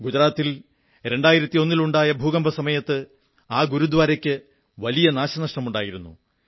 ഗുജറാത്തിൽ 2001 ലുണ്ടായ ഭൂകമ്പ സമയത്ത് ആ ഗുരുദ്വാരക്ക് വലിയ നാശനഷ്ടങ്ങളുണ്ടായിരുന്നു